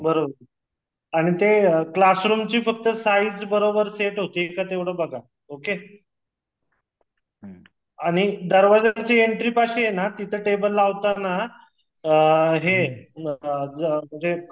बरोबर आणि ते क्लासरूमची फक्त साईज बरोबर सेट होती का तेवढ बघा ओके आणि दरवाज्याची एन्ट्रीपाशी हे ना तिथ टेबल लावताना अ हे अ